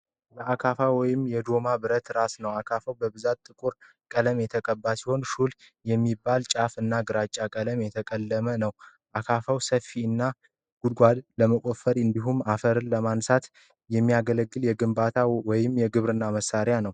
የአካፋ ወይም ዶማ ብረት ራስ ነው። አካፋው በብዛት ጥቁር ቀለም የተቀባ ሲሆን፣ ሹል የሚባለው ጫፉ ግን ግራጫ የብረት ቀለም አለው። አካፋው ሰፊ እና ጉድጓድ ለመቆፈር እንዲሁም አፈር ለማንሳት የሚያገለግል የግንባታ ወይም የግብርና መሣሪያ ነው።